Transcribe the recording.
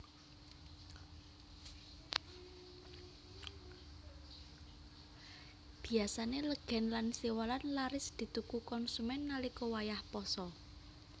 Biyasané legèn lan siwalan laris dituku konsumèn nalika wayah pasa